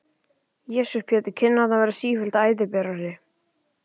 Jesús Pétur, kinnarnar verða sífellt æðaberari!